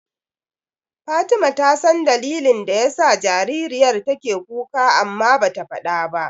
Fatima ta san dalilin da yasa jaririyar take kuka amma bata faɗa ba.